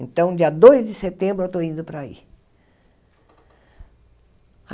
Então, dia dois de setembro eu estou indo para aí.